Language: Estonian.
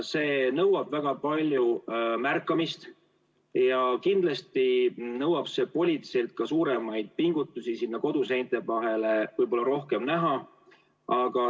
See nõuab väga palju märkamist ja kindlasti nõuab politseilt ka suuremaid pingutusi, et võib-olla sinna koduseinte vahele rohkem näha.